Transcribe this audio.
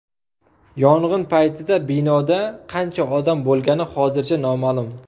Yong‘in paytida binoda qancha odam bo‘lgani hozircha noma’lum.